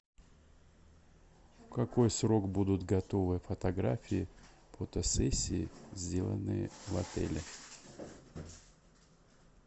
в какой срок будут готовы фотографии фотосессии сделанные в отеле